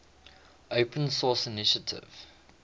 open source initiative